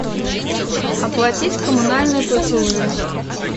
оплатить коммунальные платежи